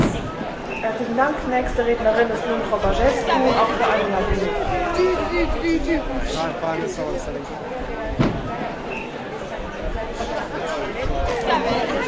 Decizia Consiliului de a începe procedura de ratificare a Acordului de stabilizare și asociere va încuraja Serbia să continue reformele pentru respectarea criteriilor de la Copenhaga.